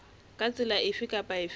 ka tsela efe kapa efe